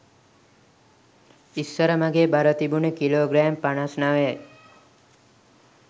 ඉස්සර මගේ බර තිබුණේ කිලෝ ග්‍රෑම් පනස් නවයයි